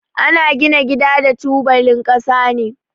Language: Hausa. Ana gina gida da tubalin kasa ne.